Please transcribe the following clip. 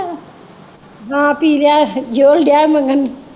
ਹਾਂ ਪੀ ਲਿਆ ਹੈ ਜ਼ੋਹਲ ਡਿਆ ਮੰਗਣ।